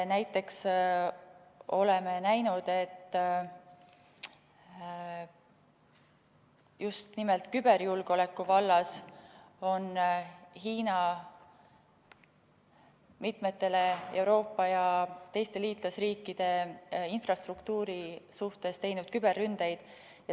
Oleme näinud just nimelt küberjulgeoleku vallas, et Hiina on mitmete Euroopa ja teiste liitlasriikide infrastruktuuri suhtes teinud küberründeid.